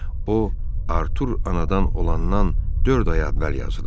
o, Artur anadan olandan dörd ay əvvəl yazılıb.